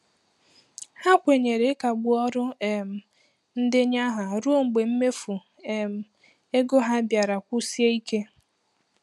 Ha kwenyere ịkagbu ọrụ um ndenye aha ruo mgbe mmefu um ego ha bịara kwụsie ike.